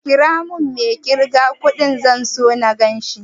Ƙira mun mai ƙirga kudin, zan so na ganshi